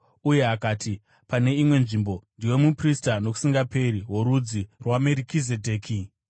Uye akati, pane imwe nzvimbo, “Ndiwe muprista nokusingaperi, worudzi rwaMerikizedheki.”